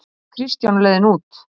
hvæsti Kristján á leiðinni út